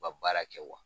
U ka baara kɛ wa